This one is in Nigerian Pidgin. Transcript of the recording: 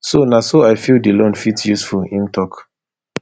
so na so i feel di loan fit useful im tok